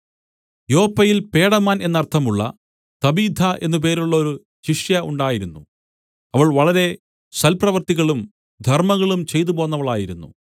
യോപ്പയിൽ പേടമാൻ എന്നർത്ഥമുള്ള തബീഥ എന്നു പേരുള്ളോരു ശിഷ്യ ഉണ്ടായിരുന്നു അവൾ വളരെ സൽപ്രവൃത്തികളും ധർമ്മങ്ങളും ചെയ്തുപോന്നവളായിരുന്നു